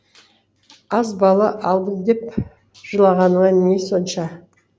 аз бала алдым деп жылағаныңа не сонша